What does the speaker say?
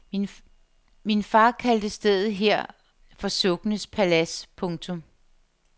Min far kaldte stedet her for sukkenes palads. punktum